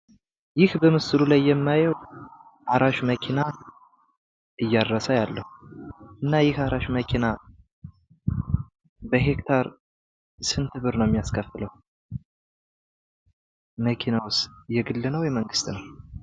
ይህ በምስሉ ላይ የማየው አራሽ መኪና እያረሰ አያለሁ፡፡ እና ይህ አራሽ መኪና በሄክታር ስንት ብር ነው የሚያስከፍለው? መኪናውስ የግል ነው? የመንግስት ነው።?